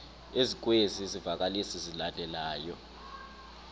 ezikwezi zivakalisi zilandelayo